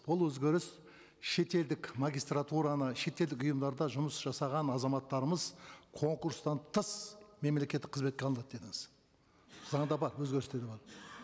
бұл өзгеріс шетелдік магистратураны шетелдік ұйымдарда жұмыс жасаған азаматтарымыз конкурстан тыс мемлекеттік қызметке алынады дедіңіз заңда бар өзгерістер